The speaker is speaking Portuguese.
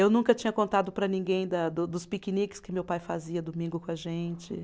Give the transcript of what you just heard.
Eu nunca tinha contado para ninguém da do, dos piqueniques que meu pai fazia domingo com a gente.